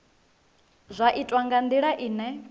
zwi itwa nga ndila ine